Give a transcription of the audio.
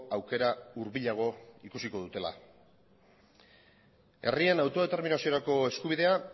aukera hurbilago ikusiko dutela herrien autodeterminaziorako eskubidea